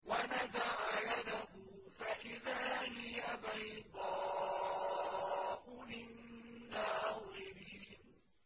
وَنَزَعَ يَدَهُ فَإِذَا هِيَ بَيْضَاءُ لِلنَّاظِرِينَ